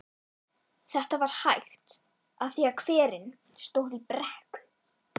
Þetta var hægt af því að hverinn stóð í brekku.